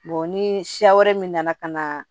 ni siya wɛrɛ min nana ka na